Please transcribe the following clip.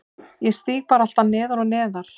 Ég síg bara alltaf neðar og neðar